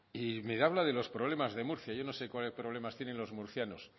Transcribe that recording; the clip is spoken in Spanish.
y me habla de los problemas de murcia yo no sé qué problemas tienen los murcianos